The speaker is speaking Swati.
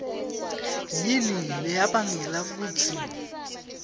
yini leyabangela kutsi